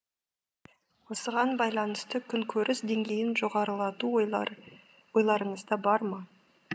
осыған байланысты күнкөріс деңгейін жоғарылату ойларыңызда бар ма